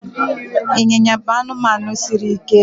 ịnyịnya bụ anụmanụ siri ike